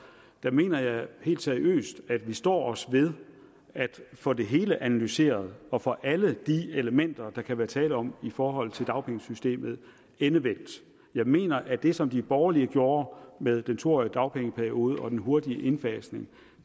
der mener jeg helt seriøst at vi står os ved at få det hele analyseret og få alle de elementer der kan være tale om i forhold til dagpengesystemet endevendt jeg mener at det som de borgerlige gjorde med den to årige dagpengeperiode og den hurtige indfasning